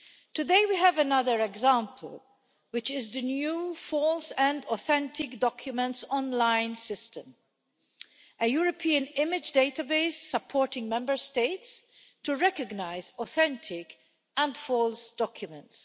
Today, we have another example, which is the new false and authentic documents online system a European image database supporting Member States in the recognition of authentic and false documents.